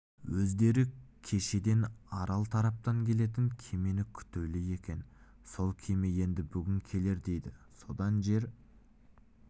өздері кешеден арал тараптан келетін кемені күтулі екен сол кеме енді бүгін келер дейді содан жер